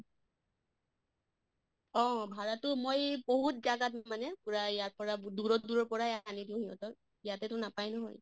অহ ভাড়া্তো মই বহুত জাগাত মানে পুৰা ইয়াৰ পৰা দূৰৰ দূৰৰ পৰাই আনি দিওঁ ইহঁতক, ইয়াতেতো নাপায় নহয়।